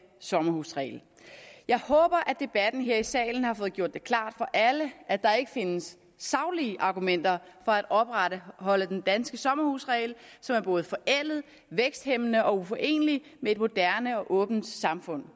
sommerhusregel jeg håber at debatten her i salen har fået gjort det klart for alle at der ikke findes saglige argumenter for at opretholde den danske sommerhusregel som både er forældet væksthæmmende og uforenelig med et moderne og åbent samfund